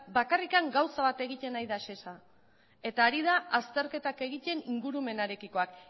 bakarrik gauza bat egiten ari da sesa eta ari da azterketak egiten ingurumenarekikoak